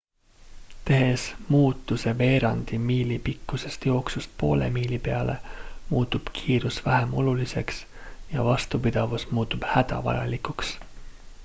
tehes muutuse veerandi miili pikkusest jooksust poole miili peale muutub kiirus vähem oluliseks ja vastupidavus muutub hädavajalikuks